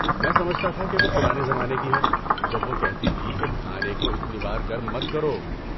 میں سمجھتا تھا کہ وہ پرانے زمانے کی ہے جب وہ کہتی تھی کہ کھانے کو اتنی بار گرم مت کرو۔